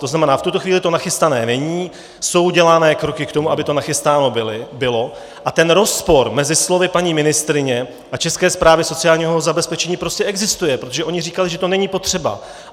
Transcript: To znamená, v tuto chvíli to nachystané není, jsou dělány kroky k tomu, aby to nachystané bylo, a ten rozpor mezi slovy paní ministryně a České správy sociálního zabezpečení prostě existuje, protože oni říkali, že to není potřeba.